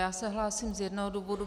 Já se hlásím z jednoho důvodu.